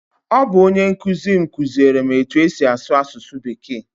Ọ bụ onye nkụzi m kụziere m etu-esi asụ asụsụ bekee.